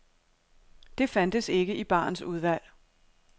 Det fandtes ikke i barens udvalg.